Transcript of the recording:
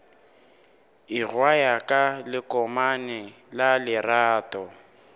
ingwaya ka lekomane la lerato